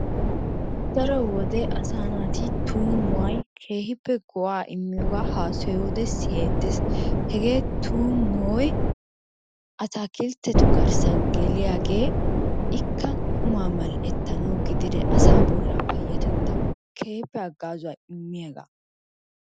Daro wode asaa naati tummuway keehiippe go'aa immiyoogaa hasayiyoode siyetees. Hegee tuummoy atakiltettu garissan geliyaagee ikka quma mal'ettanawu gididee asaa bollaa payatettawu keehiippe hagaazzuwaa immiyagaa.